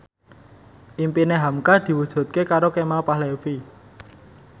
impine hamka diwujudke karo Kemal Palevi